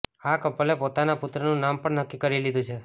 આ કપલેે પોતાના પુત્રનું નામ પણ નક્કી કરી લીધું છે